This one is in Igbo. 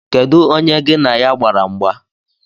Kedụ onye gi na ya gbara mgba?